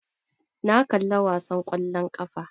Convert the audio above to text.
Na kalla wasan ƙwallon ƙafa